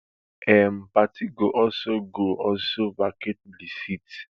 im party go also go also vacate di seat